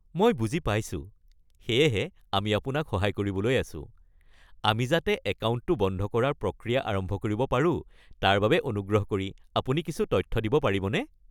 মই বুজি পাইছোঁ। সেয়েহে আমি আপোনাক সহায় কৰিবলৈ আছোঁ। আমি যাতে একাউণ্টটো বন্ধ কৰাৰ প্ৰক্ৰিয়া আৰম্ভ কৰিব পাৰো তাৰ বাবে অনুগ্ৰহ কৰি আপুনি কিছু তথ্য দিব পাৰিবনে?